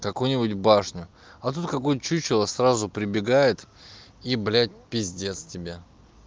какую-нибудь башню а тут какой чучело сразу прибегает и блядь конец тебе